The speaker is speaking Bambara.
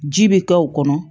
Ji bɛ k'o kɔnɔ